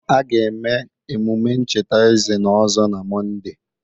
A ga-eme emume ncheta eze n'Ozo na Mọnde.